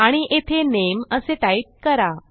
आणि येथे नामे असे टाईप करा